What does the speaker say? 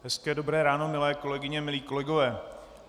Hezké dobré ráno, milé kolegyně, milí kolegové.